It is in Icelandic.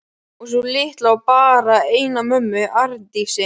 Og sú litla á bara eina mömmu: Arndísi.